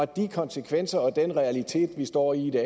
de konsekvenser og den realitet vi står i